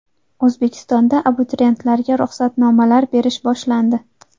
O‘zbekistonda abituriyentlarga ruxsatnomalar berish boshlandi.